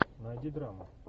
найди драму